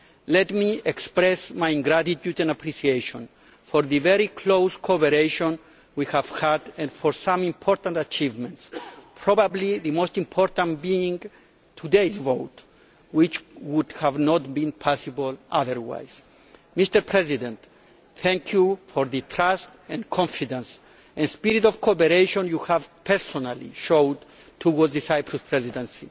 Let me express my gratitude and appreciation for the very close cooperation we have had and for some important achievements, probably the most important being today's vote, which would not have been possible otherwise. Mr President, thank you for the trust, confidence and spirit of cooperation you have personally shown towards the Cyprus Presidency.